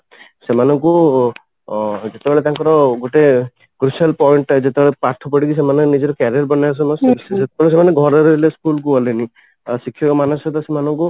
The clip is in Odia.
ସେମାନଙ୍କୁ ଅ ଯେତେ ବେଳେ ତାଙ୍କର ଗୋଟେ crucial point ଟା ଯେତେ ବେଳେ ପାଠ ପଢିକି ସେମାନେ ନିଜର career ବନେଇବା ସମୟ ସେତେ ବେଳେ ସେମାନେ ଘରେ ରହିଲେ ସ୍କୁଲ କୁ ଗଲେନି ଆଉ ଶିଖିବା ମାନସିକତା ସେମାନଙ୍କୁ